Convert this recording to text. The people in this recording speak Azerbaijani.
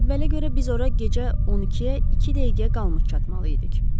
Cədvələ görə biz ora gecə 12-yə iki dəqiqə qalmış çatmalıydıq.